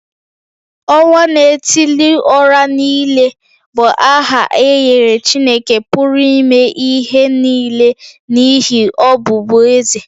Onwa-na-etili-ora-niile bụ aha e nyere Chineke pụrụ ime ihe nile n’ihi ọbụbụeze ya.